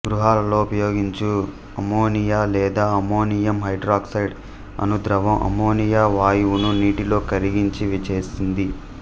గృహాలలో ఉపయోగించు అమ్మోనియా లేదా ammonium hydroxide అను ద్రవం అమ్మోనియా వాయువును నీటిలో కరగించి చేసింది